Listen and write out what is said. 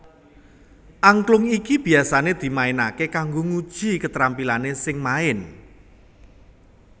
Angklung iki biasané dimainaké kanggo nguji ketrampilané sing main